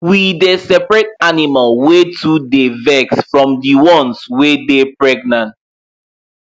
we dey seperate animal wey too dy vex from the ones wey dey pregnant